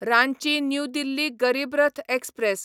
Ranchi new Delhi Garib Rath express